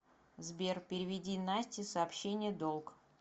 сбер переведи насте сообщение долг